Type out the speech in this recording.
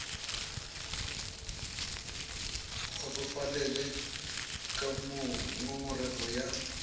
kgotsofalele ka moo ngongorego ya